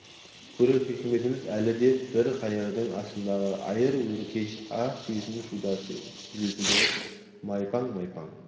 көрер хикматымыз әлі деп бір қайырды астындағы айыр өркеш ақ түйесі шудасы желпілдеп майпаң-майпаң